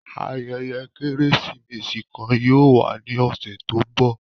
Ayẹyẹ Keresimesi kan yóò wa ni ọsẹ to ńbọ.